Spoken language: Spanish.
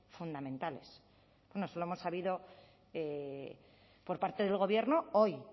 fundamentales bueno eso lo hemos sabido por parte del gobierno hoy